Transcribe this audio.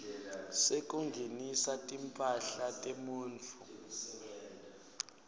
sekungenisa timphahla temuntfu